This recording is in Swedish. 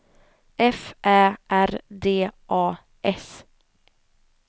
F Ä R D A S